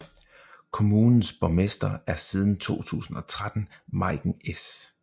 Kommunens borgmester er siden 2013 Meiken S